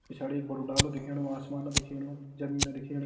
पिछाड़ी एक बड़ु डालु दिखेणु आसमान दिखेणु ज़मीन दिखेणी।